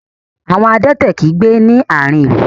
Àwon adẹ́tẹ̀ kì í gbé ní àárihn ìlú.